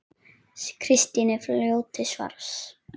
Kristín er fljót til svars.